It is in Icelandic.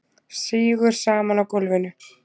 Sígur saman á gólfinu.